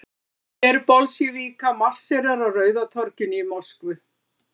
Her Bolsévíka marserar á Rauða torginu í Moskvu.